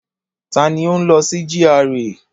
Ta ni ó ń lọ sí GRA?